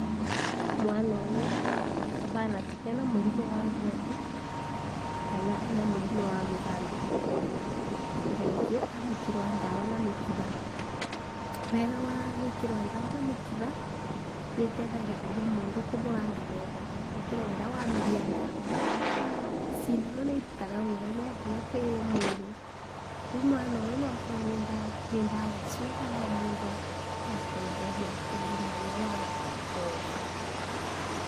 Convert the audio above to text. Mwana ũyũ ahana ta kena mũrimũ wa ngothi, kana ena mũrimũ wa mũthandũkũ, na nĩkĩo arekĩrwo ndawa na mĩkiha, wega wa gũĩkĩrwa ndawa na mĩkiha nĩteithagĩrĩria mũndũ kũhonanga na ihenya gũkĩra rĩrĩa arameria ndawa, cindano nĩirutaga wĩra naihenya kwĩ mwĩrĩ, rĩũ mwana ũyũ noakorwo nĩ ndawa icu aramundwa ya kũmũhonia mũrimũ ũyũ wa ngothi.